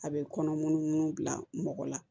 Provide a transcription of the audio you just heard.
A bɛ kɔnɔ munun munnu bila mɔgɔ la